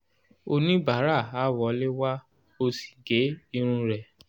oníbàárà a wọlé wá o sì gé irun rẹ̀